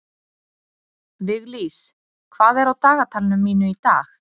Viglís, hvað er á dagatalinu mínu í dag?